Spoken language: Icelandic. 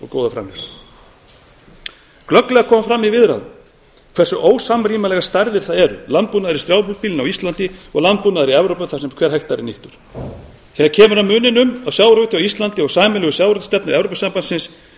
góða framleiðslu glögglega kom fram í viðræðunum hversu ósamrýmanlegar stærðir það eru landbúnaður í strjálbýlinu á íslandi og landbúnaður í evrópu þar sem hver hektari er nýttur þegar kemur að muninum á sjávarútvegi á íslandi og sameiginlegu sjávarútvegsstefnu evrópusambandsins